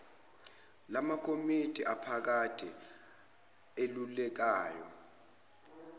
lamakomidi aphakade elulekayo